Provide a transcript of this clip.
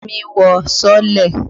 Fẹ́mi wọ sọ́ọ́lẹ̀.